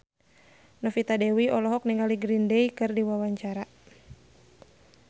Novita Dewi olohok ningali Green Day keur diwawancara